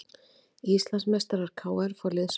Íslandsmeistarar KR fá liðsauka